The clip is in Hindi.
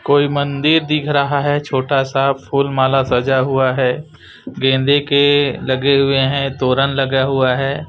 कोई मंदिर दिख रहा है छोटा सा फुल माला सजा हुआ है गेंदे के लगे हुए है तोरन लगा हुआ है।